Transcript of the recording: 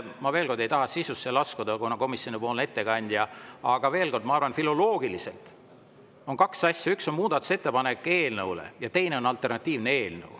Ma ei taha sisusse laskuda, kuna komisjonipoolne ettekandja, aga veel kord, ma arvan, et filoloogiliselt on need kaks asja: üks on muudatusettepanek eelnõu kohta ja teine on alternatiivne eelnõu.